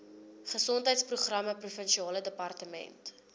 gesondheidsprogramme provinsiale departement